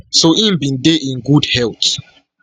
so im bin dey in good health